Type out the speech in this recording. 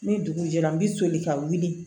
Ni dugu jɛra n bɛ soli ka wuli